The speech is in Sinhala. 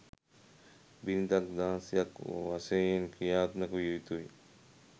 බිරිඳක් දාසියක් වශයෙන් ක්‍රියාත්මක විය යුතුයි